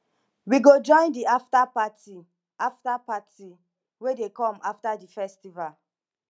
we go join di afta party afta party wey dey come after di festival